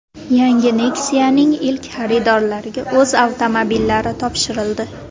Yangi Nexia’ning ilk xaridorlariga o‘z avtomobillari topshirildi.